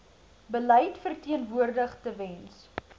beleid verteenwoordig tewens